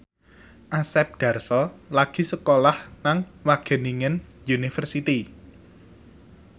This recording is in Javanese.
Asep Darso lagi sekolah nang Wageningen University